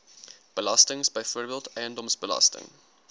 belastings byvoorbeeld eiendomsbelasting